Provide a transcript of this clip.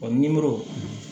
nimoro